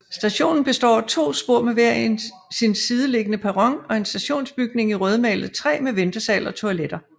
Stationen Består af to spor med hver sin sideliggende perron og en stationsbygning i rødmalet træ med ventesal og toiletter